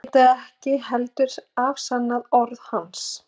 vitað ekki heldur afsannað orð hans.